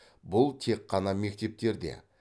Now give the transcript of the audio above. бұл тек қана мектептерде